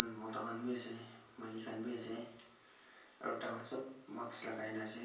Mota khan bhi ase maiki khan bhi ase aru tai khan sab mask logai na ase.